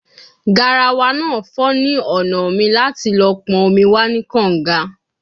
Garawa naa fo ni ọna mi lati lo pon omi wa ni kanga